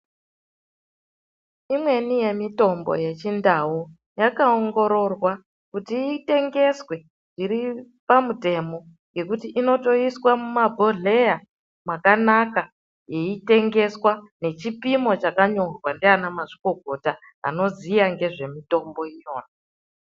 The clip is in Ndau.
Imweni yemitombo yeChindau, yakaongororwa kuti itengeswe zviri pamutemo, ngekuti inotoiswa mumabhodhleya mwakanaka. Yeitengesawa nechipimo chakanyorwa ndianamazvikokota anoziya ngezvemitombo iyona.